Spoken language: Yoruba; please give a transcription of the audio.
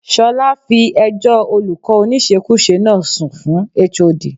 Ṣọlá fi ẹjọ́ olùkọ́ oníṣekúṣe náà sun fún HOD.